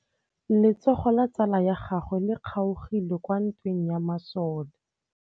Letsôgô la tsala ya gagwe le kgaogile kwa ntweng ya masole.